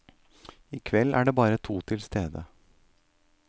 I kveld er de bare to til stede.